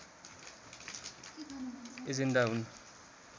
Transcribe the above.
agenda हुन्